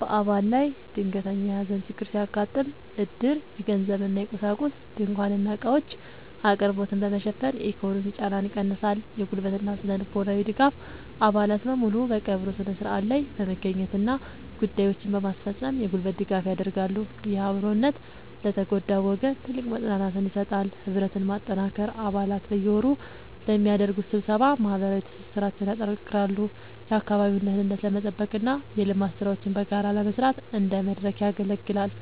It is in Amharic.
በአባል ላይ ድንገተኛ የሐዘን ችግር ሲያጋጥም፣ ዕድር የገንዘብና የቁሳቁስ (ድንኳንና ዕቃዎች) አቅርቦትን በመሸፈን የኢኮኖሚ ጫናን ይቀንሳል። የጉልበትና ስነ-ልቦናዊ ድጋፍ፦ አባላት በሙሉ በቀብሩ ሥነ ሥርዓት ላይ በመገኘትና ጉዳዮችን በማስፈጸም የጉልበት ድጋፍ ያደርጋሉ። ይህ አብሮነት ለተጎዳው ወገን ትልቅ መጽናናትን ይሰጣል። ህብረትን ማጠናከር፦ አባላት በየወሩ በሚያደርጉት ስብሰባ ማህበራዊ ትስስራቸውን ያጠናክራሉ፤ የአካባቢውን ደህንነት ለመጠበቅና የልማት ሥራዎችን በጋራ ለመስራት እንደ መድረክ ያገለግላል።